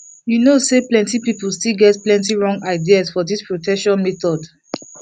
you know say plenty people still get plenty wrong ideas for this protection methods